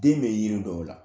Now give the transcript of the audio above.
Den be yiri dɔw la.